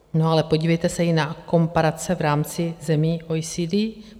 No, ale podívejte se i na komparace v rámci zemí OECD.